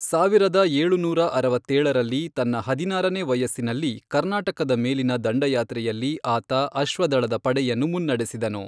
ಸಾವಿರದ ಏಳುನೂರ ಅರವತ್ತೇಳರಲ್ಲಿ, ತನ್ನ ಹದಿನಾರನೇ ವಯಸ್ಸಿನಲ್ಲಿ ಕರ್ನಾಟಕದ ಮೇಲಿನ ದಂಡಯಾತ್ರೆಯಲ್ಲಿ ಆತ ಅಶ್ವದಳದ ಪಡೆಯನ್ನು ಮುನ್ನಡೆಸಿದನು.